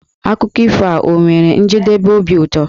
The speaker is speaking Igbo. Akụkọ ifo a ọ nwere njedebe obi ụtọ?